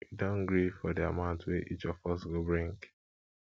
we don gree for di amount wey each of us go bring